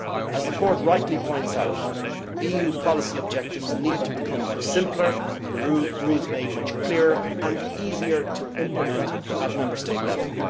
As the Court rightly points out, EU policy objectives need to become much simpler, and rules made much clearer and easier to implement at Member State level.